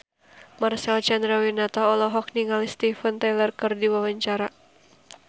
Marcel Chandrawinata olohok ningali Steven Tyler keur diwawancara